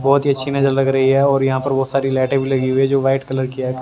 बहोत ही अच्छी नजर लग रही है और यहां पर बहोत सारी लाइट लगी है जो व्हाइट कलर की--